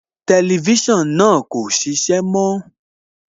Tẹlifísàn náà kò ṣiṣẹ́ mọ́